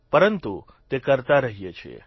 પરંતુ તે કરતા રહીએ છીએ